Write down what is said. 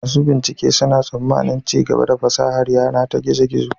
Masu bincike suna tsammanin ci gaba a fasahar yana ta gizo-gizo.